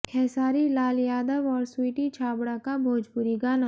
खेसारी लाल यादव और स्वीटी छाबड़ा का भोजपुरी गाना